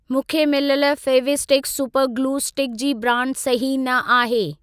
मूंखे मिलियल Fevistik super glue stick जी ब्रांड सही न आहे।